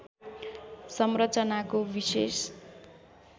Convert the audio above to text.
संरचनाको विशेष